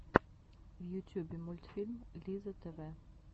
в ютюбе мультфильм лизза тв